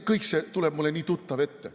Kõik see tuleb mulle nii tuttav ette.